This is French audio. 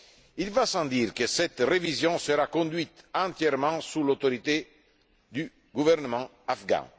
Il va sans dire que cette révision sera conduite entièrement sous l'autorité du gouvernement afghan.